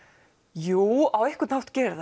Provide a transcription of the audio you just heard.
jú á einhvern hátt gerir